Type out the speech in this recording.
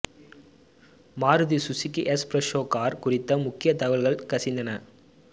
Maruti Suzuki S Presso car குறித்த முக்கிய தகவல்கள் கசிந்தன